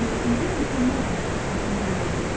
Mən özüm mükəmmələm kimi düşüncələrə yönəlin.